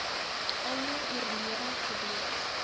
almal oorlede gewees